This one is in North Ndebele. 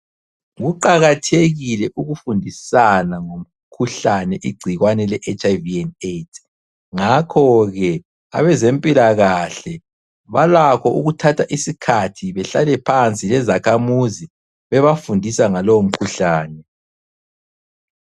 Kuqakathekile ukufundisana ngomkhuhlane igcikwane leHIV and AIDS ,ngakho ke abezempilakahle balakho ukuthatha isikhathi behlale phansi lezakhamuzi bebafundisa ngalowo mkhuhlane.